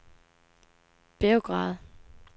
Beograd